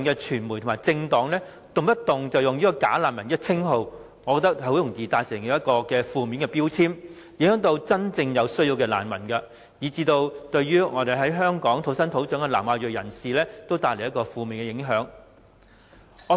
傳媒和政黨動輒使用"假難民"一詞，很容易造成負面標籤，對真正有需要的難民，以至在香港土生土長的南亞裔人士也造成負面影響。